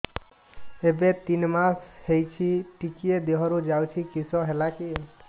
ଏବେ ତିନ୍ ମାସ ହେଇଛି ଟିକିଏ ଦିହରୁ ଯାଉଛି କିଶ ହେଲାକି